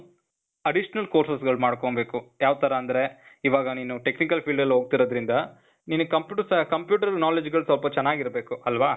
additional courses ಗಳ್ ಮಾಡ್ಕೊಂಬೇಕು. ಯಾವ್ ಥರ ಅಂದ್ರೆ, ಇವಾಗ ನೀನು technical field ಆಲ್ ಹೋಗ್ತಿರೋದ್ರಿಂದ, ನಿನಿಗ್ computers, computer knowledge ಗಳು ಸ್ವಲ್ಪ ಚನಾಗ್ ಇರ್ಬೇಕು ಅಲ್ವಾ?